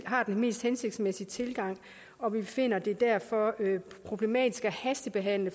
har den mest hensigtsmæssige tilgang og vi finder det derfor problematisk at hastebehandle